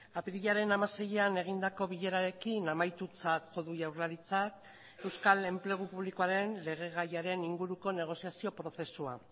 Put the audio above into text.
apirilaren hamaseian egindako bilerarekin amaitutzat jo du jaurlaritzak euskal enplegu publikoaren legegaiaren inguruko negoziazio prozesua